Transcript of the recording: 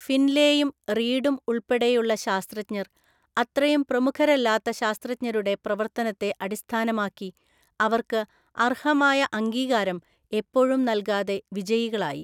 ഫിൻലേയും റീഡും ഉൾപ്പെടെയുള്ള ശാസ്ത്രജ്ഞർ, അത്രയും പ്രമുഖരല്ലാത്ത ശാസ്ത്രജ്ഞരുടെ പ്രവർത്തനത്തെ അടിസ്ഥാനമാക്കി അവർക്ക് അർഹമായ അംഗീകാരം എപ്പോഴും നൽകാതെ, വിജയികളായി.